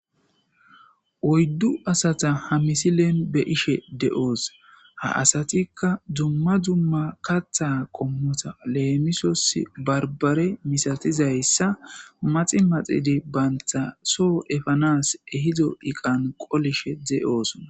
oyddu asata ha misileen be'ishe de'oos ha asatikka dumma dumma katha qommota leemisos barbare misatizayssa maxi maxidi baynta soo epanas ehido iqan qolishe de'osona